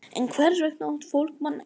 En hvers vegna át fólk mannakjöt?